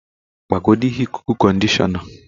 Gbagodu ihe ikuku-conditioner.